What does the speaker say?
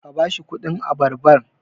ka ba shi kudin abarbar!